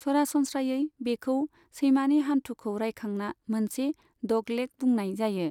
सरासनस्रायै बेखौ सैमानि हान्थुखौ रायखांना मोनसे 'डगलेग' बुंनाय जायो।